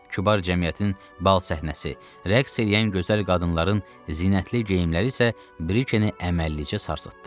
Kübar cəmiyyətin bal səhnəsi, rəqs eləyən gözəl qadınların zinətli geyimləri isə Brikeni əməlli-başlı sarsıtdı.